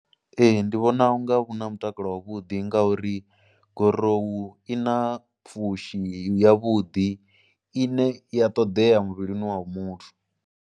Ee ndi vhona u nga vhu na mutakalo wavhuḓi ngauri gorowu i na pfhushi yavhuḓi ine ya ṱoḓea muvhilini wa muthu.